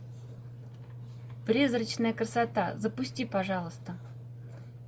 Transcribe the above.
призрачная красота запусти пожалуйста